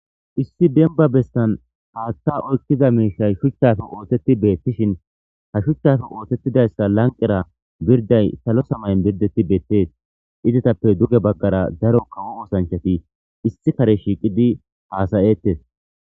Iss demba bessan haththa oyqiza mishayi shuchappe ossethi bethishein ha shuchappe osethidaysi lanqera birday sallo semay oththethi bethess. Izzathappe dugge bagara daro kawo ossanchathi issi Kare shiqidi hassa'thess.